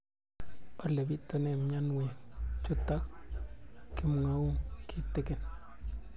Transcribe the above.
Ole pitune mionwek chutok ko kimwau kitig'�n